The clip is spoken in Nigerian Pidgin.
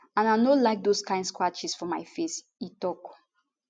and i no like dose kain scratches for my face e tok